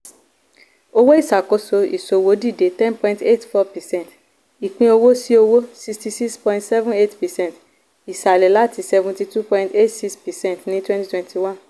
owó ìṣàkóso ìṣòwò dìde 10.84 percent ìpín owó-sí-owó 66.78 percent ìsàlẹ̀ láti 72.86 percent ní 2021.